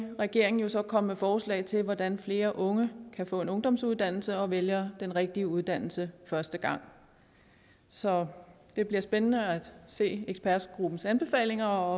vil regeringen jo så komme med forslag til hvordan flere unge kan få en ungdomsuddannelse og at de vælger den rigtige uddannelse første gang så det bliver spændende at se ekspertgruppens anbefalinger og